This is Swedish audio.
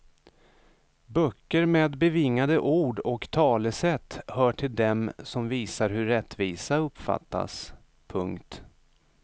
Böcker med bevingade ord och talesätt hör till dem som visar hur rättvisa uppfattas. punkt